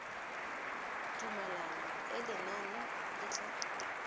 tumalano e lenane le tla